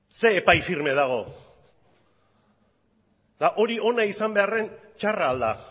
zein epai firma dago eta hori ona izan beharren txarra ahal da